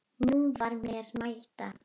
Nú var mér að mæta!